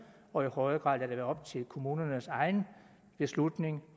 og i højere grad lade det være op til kommunernes egen beslutning